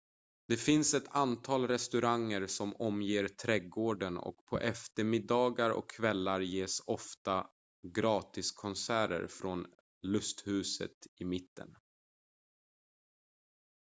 det finns ett antal restauranger som omger trädgården och på eftermiddagar och kvällar ges ofta gratiskonserter från lusthuset i mitten